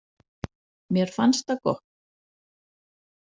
Mér fannst það gott.